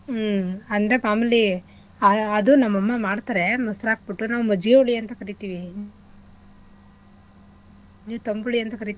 ಹ್ಮ್ ಅಂದ್ರೆ ಮಾಮೂಲಿ ಆ~ ಅದೂ ನಮ್ಮಮ್ಮ ಮಾಡ್ತಾರೆ ಮೊಸ್ರ್ ಹಾಕ್ಬಿಟ್ಟು ನಾವು ಮಜ್ಜಿಗೆ ಹುಳಿ ಅಂತ ಕರಿತಿವಿ. ನೀವು ತಂಬುಳಿ ಅಂತ ಕರಿತಿರಾ?